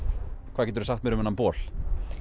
hvað geturðu sagt mér um þennan bol